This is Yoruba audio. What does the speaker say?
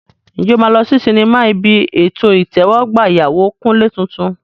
Ǹjẹ́ o máa lọ sí sinimá ibi ètò ìtẹ́wọ́gbà ìyàwó Kunle tuntun?